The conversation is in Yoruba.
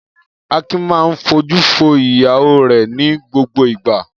Akin máa ń fojú fo ìyàwó rẹ̀ ní gbogbo ìgbà.